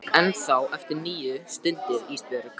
Þú átt ennþá eftir níu stundir Ísbjörg.